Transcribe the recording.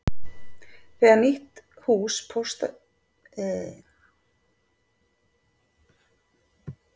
Þegar nýtt hús Pósts og síma var byggt